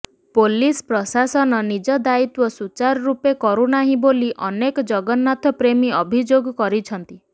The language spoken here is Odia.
ପୋଲିସ ପ୍ରଶାସନ ନିଜ ଦାୟିତ୍ୱ ସୂଚାର ରୂପେ କରୁନାହିଁ ବୋଲି ଅନେକ ଜଗନ୍ନାଥ ପ୍ରେମୀ ଅଭିଯୋଗ କରିଛନ୍ତି